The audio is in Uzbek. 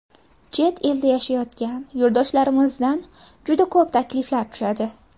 Chet elda yashayotgan yurtdoshlarimizdan juda ko‘p takliflar tushadi.